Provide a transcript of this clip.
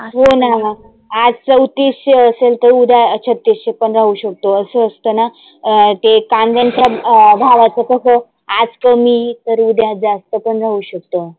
हो ना, आज चौतीसशे असेल तर उद्या छत्तीसशे पण राहू शकतो असंं असतना. अं ते कांद्यांचा भावाच कसं आज कमी तर उद्या जास्त पण राहु शकतो.